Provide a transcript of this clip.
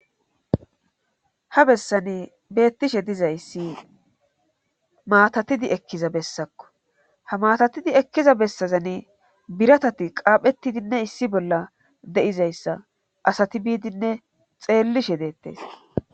ha bessani beettishe dizayssi matatidi ekkiza bessakko ha matatidi ekkiza bessazani biratati qaaphetidinne issi bolla de7izayssa asati biidinne xeellishe deettes